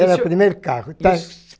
Era o primeiro carro.